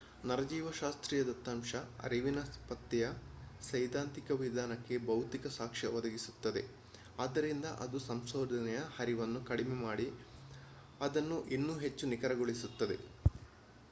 ನರಜೀವಶಾಸ್ತ್ರೀಯ ದತ್ತಂಶ ಅರಿವಿನ ಪತ್ತೆಯ ಸೈದ್ದಾಂತಿಕ ವಿಧಾನಕ್ಕೆ ಭೌತಿಕ ಸಾಕ್ಷ್ಯ ಒದಗಿಸುತ್ತದೆ ಅದ್ದರಿಂದ ಅದು ಸಂಶೋಧನೆಯ ಹರಿವನ್ನು ಕಡಿಮೆ ಮಾಡಿ ಅದನ್ನು ಇನ್ನೂ ಹೆಚ್ಚು ನಿಖರಗೊಳಿಸುತ್ತದೆ